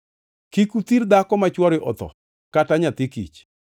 “Kik uthir dhako ma chwore otho kata nyathi kich.